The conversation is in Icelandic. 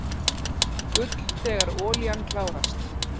Gull þegar olían klárast